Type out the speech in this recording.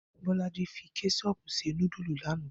Bó̩lájí fi ké̩s̩o̩o̩pù se núdùlù lánàá